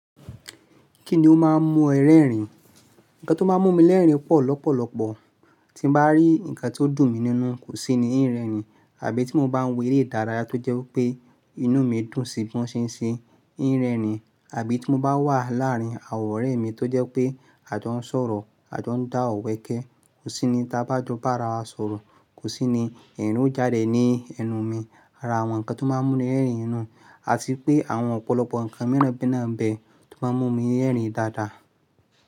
Kí ni ó máa ń mú ẹ rẹ́rìn? Ǹkan tó máa ń mú mi lẹ́rìn pọ̀ lọ́pọ̀lọpọ̀, tí bá rí ǹkan tó dùn mi nínú, kò sí ni í rẹ́rìn, àbí tí mo bá ń wo èrè idárayá tó jẹ́ pé inú mi dùn sí bí wọ́n ṣe ń ṣe, í ń rẹ́rìn, àbí tí mo bá wà láàárín àwọn ọ̀rẹ́ mi tó jẹ́ pé a jó ń sọ̀rọ̀, a tó ń dá ọ̀wẹ́kẹ́, kò sí ni tí a bá joba àrà wa sọ̀rọ̀, kò sí ni ẹ̀rin o jáde ní ẹnu mi. Ara àwọn ǹkan tó máa ń mú mi lẹ́rìn nù, àti pé àwọn ọ̀pọ̀lọpọ̀ ǹkan míràn mi naa n bẹ́ẹ̀ tó máa ń mú mi rẹ́rìn dáadáa.